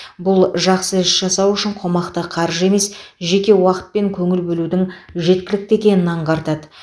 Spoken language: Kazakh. бұл жақсы іс жасау үшін қомақты қаржы емес жеке уақыт пен көңіл бөлудің жеткілікті екенін аңғартады